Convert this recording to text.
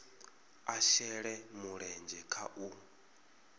a shele mulenzhe kha u